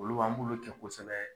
Olu an bolo kɛ kosɛbɛ